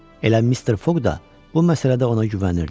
Elə Mister Foq da bu məsələdə ona güvənirdi.